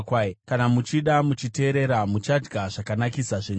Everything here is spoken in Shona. Kana muchida uye muchiteerera muchadya zvakanakisa zvenyika;